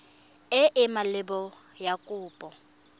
e e maleba ya kopo